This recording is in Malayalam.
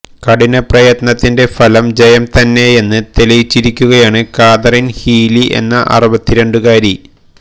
കഠിനപ്രയത്നത്തിന്റെ ഫലം ജയം തന്നെയെന്ന് തെളിയിച്ചിരിക്കുകയാണ് കാതറീൻ ഹീലി എന്ന അറുപത്തിരണ്ടുകാരി